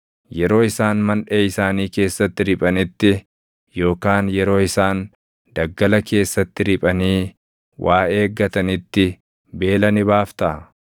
yeroo isaan manʼee isaanii keessatti riphanitti yookaan yeroo isaan daggala keessatti riphanii // waa eeggatanitti beela ni baaftaa?